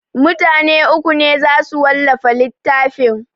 Mutane uku ne za su wallafa littafin